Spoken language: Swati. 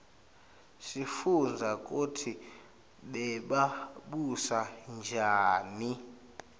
sifundza kutsi bebabusa njani